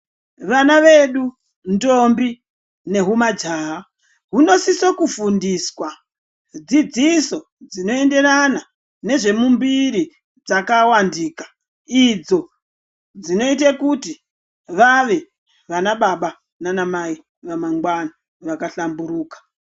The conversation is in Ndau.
Vana vedu, ndombi nehumajaha, huno sise kufundiswa dzidziso dzinoenderana nezve mumbiri dzakavandika idzo dzinoite kuti vave vana baba nana mai vamangwana vakahlamburuka.